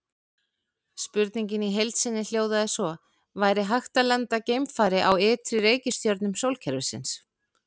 Spurningin í heild sinni hljóðaði svo: Væri hægt að lenda geimfari á ytri reikistjörnum sólkerfisins?